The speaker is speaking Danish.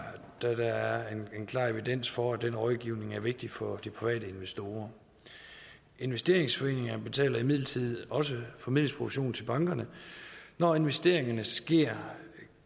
der er en klar evidens for at den rådgivning er vigtig for de private investorer investeringsforeninger betaler imidlertid også formidlingsprovision til bankerne når investeringerne sker